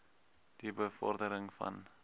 die bevordering van